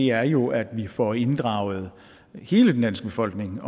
er jo at vi får inddraget hele den danske befolkning